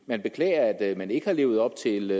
man beklager at man ikke har levet op til